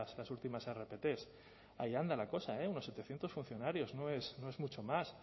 las últimas rpt ahí anda la cosa unos setecientos funcionarios no es mucho más